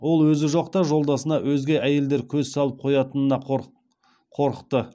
ол өзі жоқта жолдасына өзге әйелдер көз салып қоятынына қорықты